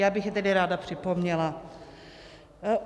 Já bych je tedy ráda připomněla.